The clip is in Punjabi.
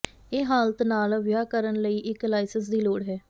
ਇਹ ਹਾਲਤ ਨਾਲ ਵਿਆਹ ਕਰਨ ਲਈ ਇੱਕ ਲਾਇਸੰਸ ਦੀ ਲੋੜ ਹੈ